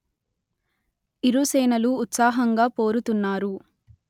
ఇరు సేనలు ఉత్సాహంగా పోరుతున్నారు